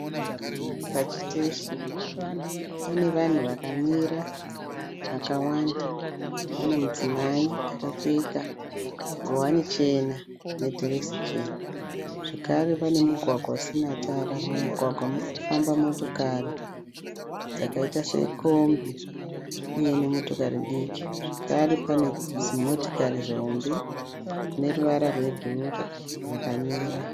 Pachiteshi pane vanhu vakamira vakawanda. Pane mudzimai akapfeka nguwani chena nedhirezi chena. Zvakare pane mugwagwa usina tara. Mumugwagwa muri kufamba motokari dzakaita sekombi uye nemotokari diki. Zvakare pane zimotokari zihombe rine ruvara rwebhuruu rakamira.